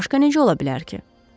Başqa necə ola bilər ki?